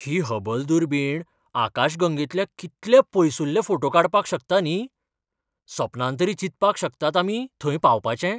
ही Hubble दुर्बीण आकाशगंगेतले कितले पयसुल्ले फोटे काडपाक शकता, न्ही. सपनांत तरी चिंतपाक शकतात आमी थंय पावपाचें!